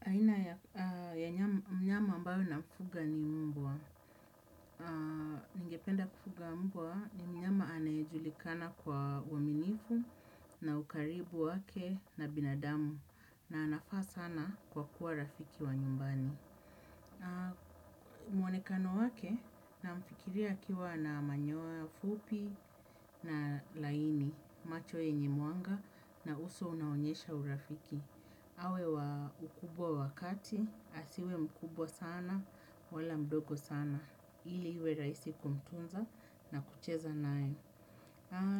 Aina ya mnyama ambayo na mfuga ni mbwa. Ningependa kufuga mbwa ni mnyama anayejulikana kwa uaminifu na ukaribu wake na binadamu na anafaa sana kwa kuwa rafiki wa nyumbani. Mwonekano wake namfikiria akiwa na manyoya fupi nalaini macho yenye mwanga na uso unaonyesha urafiki. Awe wa ukubwa wakati, asiwe mkubwa sana, wala mdogo sana, ili iwe rahisi kumtunza na kucheza nae.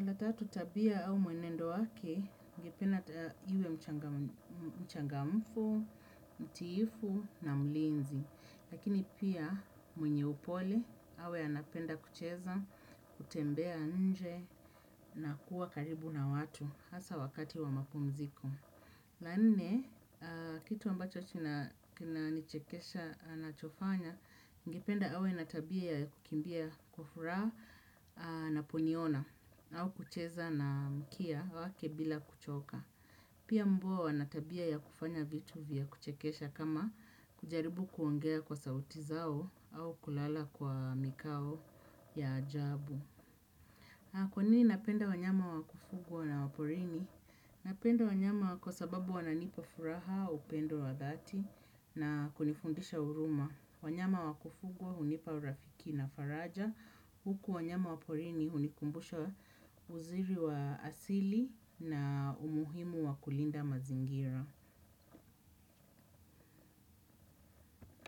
La tatu tabia au mwenendo wake, ningependa iwe mchangamfu, mtiifu na mlinzi. Lakini pia mwenye upole, awe anapenda kucheza, kutembea nje na kuwa karibu na watu, hasa wakati wa mapumziko. La nne, kitu ambacho kinanichekesha anachofanya, ningependa awe na tabia ya kukimbia kwa furaha anaponiona au kucheza na mkia wake bila kuchoka. Pia mbwa wana tabia ya kufanya vitu vya kuchekesha kama kujaribu kuongea kwa sauti zao au kulala kwa mikao ya ajabu. Kwanini napenda wanyama wa kufugwa na waporini? Napenda wanyama kwa sababu wananipa furaha upendo wadhati na kunifundisha huruma. Wanyama wa kufugwa hunipa urafiki na faraja. Huku wanyama wa porini hunikumbusha uzuri wa asili na umuhimu wa kulinda mazingira.